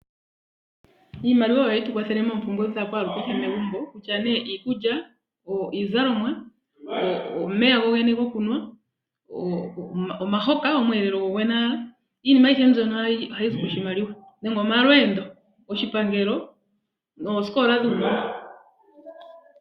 Iimaliwa oyo ha yi tu kwathele moompumbwe dha kwaa lu kehe megumbo, okutya nee iikulya, iizalomwa, omeya gokunwa, omahoka go kulya, kutya omalweendo noosikola dhuunona.